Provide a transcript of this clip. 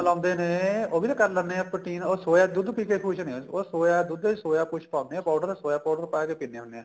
ਲਾਉਂਦੇ ਨੇ ਉਹ ਵੀ ਤਾਂ ਕਰ ਲੈਣੇ ਏ protein ਉਹ soya ਦੁੱਧ ਪੀ ਕੇ ਖੁਸ਼ ਨੇ ਉਹ soya ਦੁੱਧ soya ਕੁੱਝ ਪਾਉਣੇ ਏ soya powder ਪਾ ਕੇ ਪਿੰਨੇ ਹੁੰਨੇ ਆ